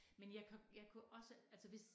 Men jeg kan jeg kunne også altså hvis